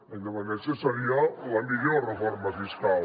la independència seria la millor reforma fiscal